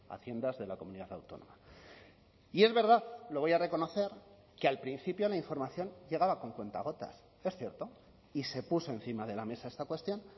haciendas de la comunidad autónoma y es verdad lo voy a reconocer que al principio la información llegaba con cuentagotas es cierto y se puso encima de la mesa esta cuestión